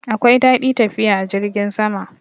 Akwai dadi tafiya a jirgin sama.